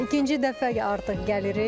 İkinci dəfə artıq gəlirik.